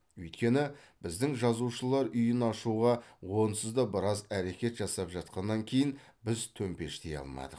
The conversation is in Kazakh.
өйткені біздің жазушылар үйін ашуға онсыз да біраз әрекет жасап жатқаннан кейін біз төпештей алмадық